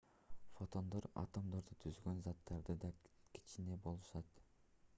фотондор атомдорду түзгөн заттардан да кичине болушат